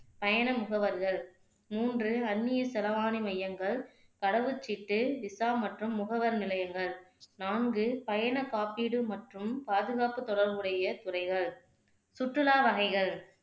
பயண முகவர்கள் மூன்று அந்நிய செலவானி மையங்கள், கடவுச்சீட்டு, விசா மற்றும் முகவர் நிலையங்கள் நான்கு பயணக்காப்பீடு மற்றும் பாதுகாப்பு தொடர்புடைய துறைகள் சுற்றுலா வகைகள்